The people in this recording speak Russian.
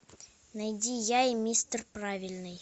найди я и мистер правильный